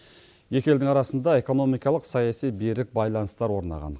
екі елдің арасында экономикалық саяси берік байланыстар орнаған